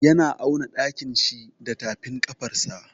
Yana auna ɗakin shi da tafin ƙafarsa.